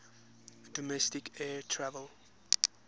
domestic air travel